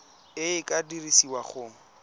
e e ka dirisiwang go